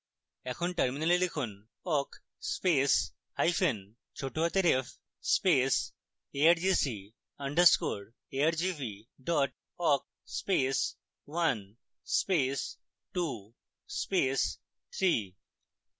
এখন terminal লিখুনawk space hyphen ছোটহাতের f space argc underscore argv dot awk space one space two space three